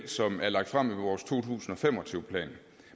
som er lagt frem i vores to tusind og fem og tyve plan